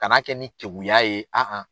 Kan'a kɛ ni keguya ye an an.